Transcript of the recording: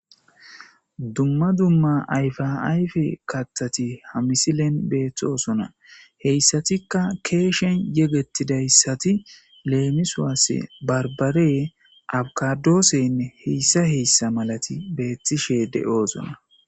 Dumma dumma ayfa ayfe kattati hamisilen beethtoosona heyssatikka keeshen yegettidayssati leemiswaasse barbare abkadooseynne heyssa heyssa malati beettishe de'oozona